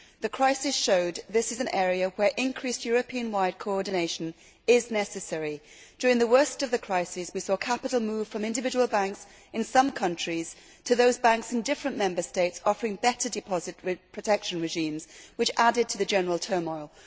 The crisis showed that this is an area where increased Europe wide coordination is necessary. During the worst of the crisis we saw capital move from individual banks in some countries to banks in different Member States offering better deposit protection regimes, which added to the general turmoil.